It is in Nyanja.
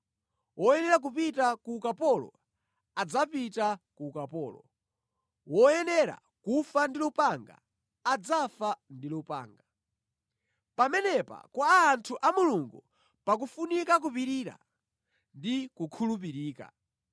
“Woyenera kupita ku ukapolo, adzapita ku ukapolo. Woyenera kufa ndi lupanga, adzafa ndi lupanga.” Pamenepa kwa anthu a Mulungu pakufunika kupirira ndi kukhulupirika.